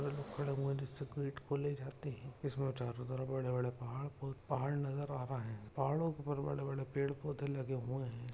कुछ लोग खड़े हुए जाते है इसमे चारों तरफ बड़े बड़े पहाड़ और पहाड़ नजर रहा है पहाड़ों के ऊपर बड़े बड़े पेड़ पौधे लगे हुए है।